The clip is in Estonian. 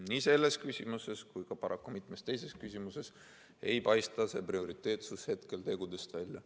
Nii selles küsimuses kui paraku ka mitmes teises küsimuses ei paista see prioriteetsus hetkel tegudest välja.